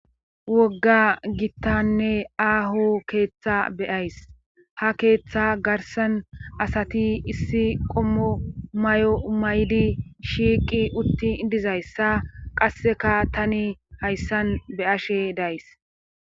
wogga gittanne aaho keeththa beyays ha keeththa garsan asati issi qommo may7o may7di shiiqi utti dizayssa qasseka tani hayssan be ashe days